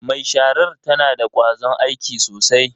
Mai sharar tana da kwazon aiki sosai.